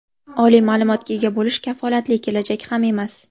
Oliy ma’lumotga ega bo‘lish kafolatli kelajak ham emas!.